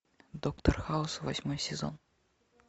доктор хаус восьмой сезон